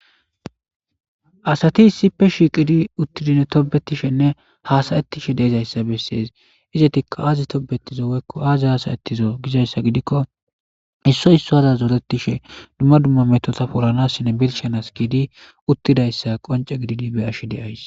asati issipe shiqidi uttidinne tobetishenne haasayetishe deezayssa bessees izetikka aazi tobetizo weykko aazi haasayettizo gizayssa gidikko isso issoaza zoretishe dumma dumma metota polanassine birshianas kidi uttidayssa qonce gidini be ashi deays